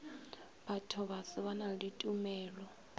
bathobaso ba na le ditumelo